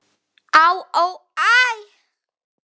Á, ó, æ